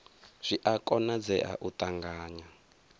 zwi a konadzea u ṱanganya